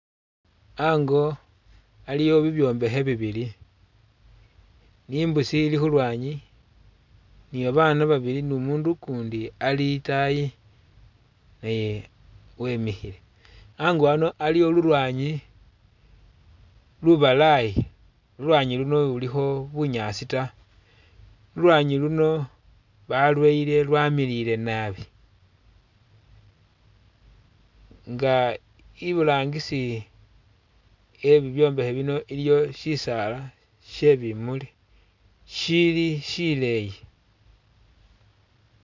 Ango aliwo bibyombekhe bibili ni mbusi ilikhulwanyi nibabana babili numundu ukundi ali itaayi eh wemikhile, ango ano aliwo lulwanyi lubalayi, lulwanyi luno ilulikho bunyaasi taa, lulwanyi luno balweyile lwamilile naabi nga iburangisi e'bibyombekhe bino iliyo sisaala shebimuli shili shileeyi